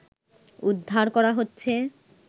উদ্ধার করা হচ্ছে